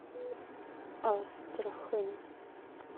астрахань